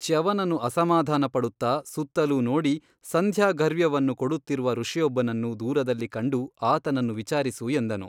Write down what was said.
ಚ್ಯವನನು ಅಸಮಾಧಾನಪಡುತ್ತ ಸುತ್ತಲೂ ನೋಡಿ ಸಂಧ್ಯಾಘರ್ಯ್ವನ್ನು ಕೊಡುತ್ತಿರುವ ಋಷಿಯೊಬ್ಬನನ್ನು ದೂರದಲ್ಲಿ ಕಂಡು ಆತನನ್ನು ವಿಚಾರಿಸು ಎಂದನು.